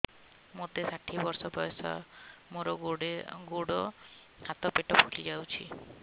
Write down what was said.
ମୋତେ ଷାଠିଏ ବର୍ଷ ବୟସ ମୋର ଗୋଡୋ ହାତ ପେଟ ଫୁଲି ଯାଉଛି